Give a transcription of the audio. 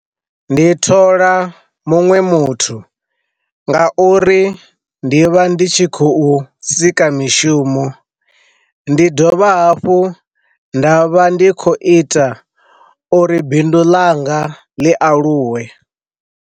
Ndi thola muṅwe muthu nga uri ndi vha ndi tshi khou sika mishumo, ndi dovha hafhu nda vha ndi kho ita uri bindu langa ḽi aluwe